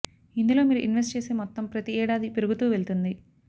ఇందులో మీరు ఇన్వెస్ట్ చేసే మొత్తం ప్రతి ఏడాది పెరుగుతూ వెళ్తుంది